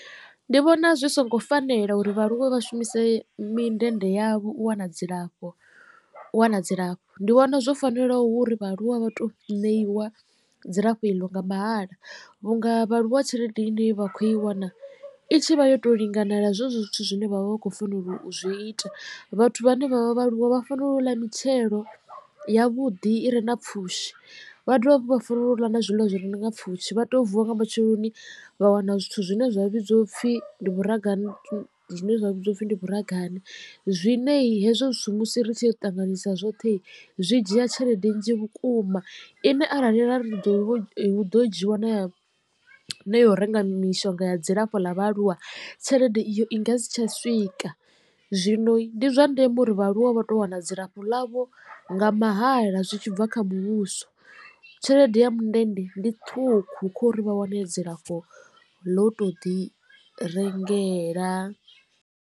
Ndi vhona zwi songo fanela uri vhaaluwa vha shumise mindende yavho u wana dzilafho u wana dzilafho ndi vhona zwo fanela uri vhaaluwa vha to ṋeiwa dzilafho iḽo nga mahala vhunga vhaaluwa tshelede i ne vha khou i wana i tshi vha yo to linganela zwezwo zwithu zwine vhavha vha khou fanela u zwi ita. Vhathu vhane vha vha vhaaluwa vha fanela u ḽa mitshelo ya vhuḓi i re na pfhushi vha dovha hafhu vha fanela u ḽa na zwiḽiwa zwi re na pfhushi vha tea u vuwa nga matsheloni vha wana zwithu zwine zwa vhidziwa upfhi ndi zwine zwa vhidziwa upfi ndi vhuragane zwine hezwo zwithu musi ri tshi ya u ṱanganyisa zwoṱhe zwi dzhia tshelede nnzhi vhukuma ine arali rari huḓo dzhiiwa na ya u renga mishonga ya dzilafho ḽa vhaaluwa tshelede iyo i nga si tsha swika. Zwino ndi zwa ndeme uri vha aluwa vha to wana dzilafho ḽavho nga mahala zwi tshi bva kha muvhuso tshelede ya mundende ndi ṱhukhu kho ri vha wane dzilafho ḽo to ḓi rengela.